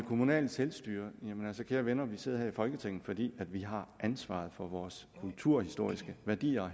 kommunale selvstyre jamen altså kære venner vi sidder her i folketinget fordi vi har ansvaret for vores kulturhistoriske værdier